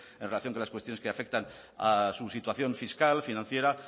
en relación a las cuestiones que afectan a su situación fiscal financiera